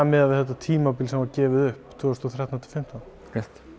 miðað við þetta tímabil sem var gefið upp tvö þúsund og þrettán til fimmtán rétt